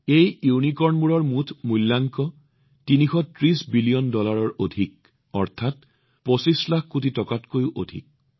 এই ইউনিকৰ্নবোৰৰ মুঠ মূল্যাংকন হৈছে ৩৩০ বিলিয়ন ডলাৰৰ অধিক অৰ্থাৎ ২৫ লাখ কোটি টকাতকৈও অধিক